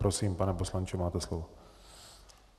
Prosím, pane poslanče, máte slovo.